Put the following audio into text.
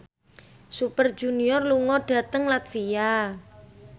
Super Junior lunga dhateng latvia